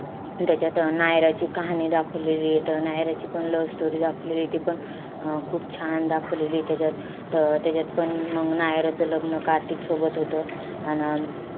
त्याच्यात अं नायराची कहाणी दाखवलेलीय. त नायराची पण love story दाखवलेलीय. ती पण अं खूप छान दाखवलेलीय त्याच्यात. त त्याच्यातपण मंग नायराचं लग्न कार्तिक सोबत होतं. अन अं